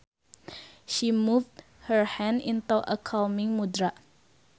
She moved her hands into a calming mudra